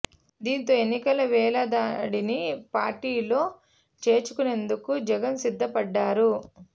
దీంతో ఎన్నికల వేళ దాడిని పార్టీలో చేర్చుకునేందుకు జగన్ సిద్ధ పడ్డారు